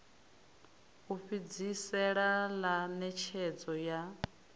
u fhedzisela ḽa ṋetshedzo ya